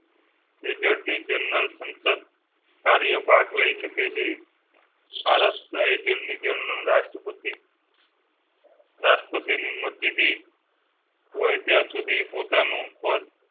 attorney general સંસદીય કાર્ય ભાગ લઈ શકે છે ભારત general રાષ્ટ્રપતિ. રાષ્ટ્રપતિ ની મરજી થી. હોય ત્યાં સુધી પોતા નું પદ